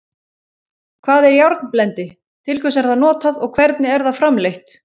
Hvað er járnblendi, til hvers er það notað og hvernig er það framleitt?